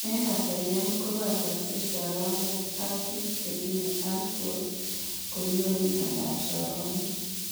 En kasaryan, kobachaksei soromok ak bik chetinye alport konyoru miondab soromok